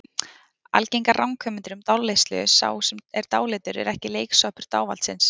Algengar ranghugmyndir um dáleiðslu Sá sem er dáleiddur er ekki leiksoppur dávaldsins.